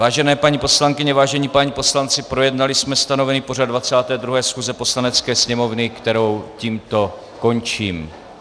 Vážené paní poslankyně, vážení páni poslanci, projednali jsme stanovený pořad 22. schůze Poslanecké sněmovny, kterou tímto končím.